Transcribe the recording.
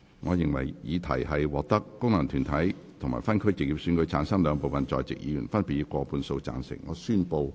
我認為議題獲得經由功能團體選舉產生及分區直接選舉產生的兩部分在席議員，分別以過半數贊成。